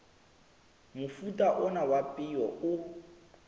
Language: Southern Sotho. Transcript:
mofuta ona wa peo o